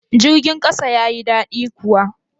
Jirgin kasa ya yi dadi kuwa?